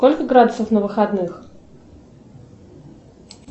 сколько градусов на выходных